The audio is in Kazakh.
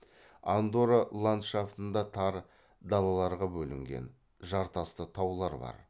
андорра ландшафтында тар далаларға бөлінген жартасты таулар бар